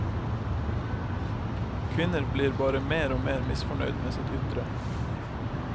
Kvinner blir bare mer og mer misfornøyd med sitt ytre.